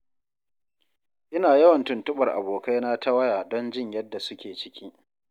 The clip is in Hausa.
Ina yawan tuntuɓar abokaina ta waya don jin yadda su ke ciki.